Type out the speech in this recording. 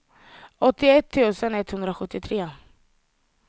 åttioett tusen etthundrasjuttiotre